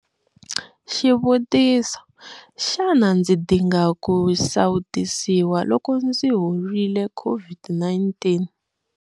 Xivutiso- Xana ndzi dinga ku sawutisiwa loko ndzi horile COVID-19?